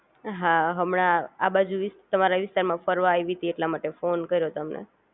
હા હમણાં આ બાજુ તમારા વિસ્તારમાં ફરવા આયવી તી એ માટે ફોન કર્યો કર્યો તમને